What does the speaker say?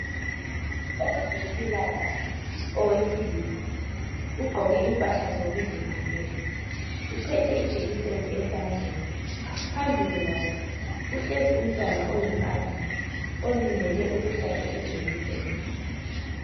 Owezempilakahle owesilisa ugqoke impahla zokuzivikela uphethe ijekiseni esandleni phambili kwakhe kuhlezi umntwana oyinkazana olindele ukuhlatshwa ijekiseni.